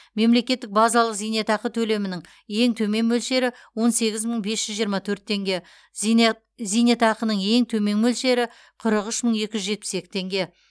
мемлекеттік базалық зейнетақы төлемінің ең төмен мөлшері он сегіз мың бес жүз жиырма төрт теңге зейне зейнетақының ең төмен мөлшері қырық үш мың екі жүз жетпіс екі теңге